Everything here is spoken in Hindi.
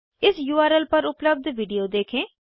इस उर्ल पर उपलब्ध वीडियो देखें